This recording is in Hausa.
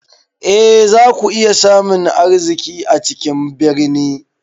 E, za ku iya samun arziki a cikin birni.